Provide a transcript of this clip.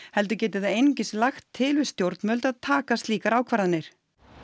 heldur geti það einungis lagt til við stjórnvöld að taka slíkar ákvarðanir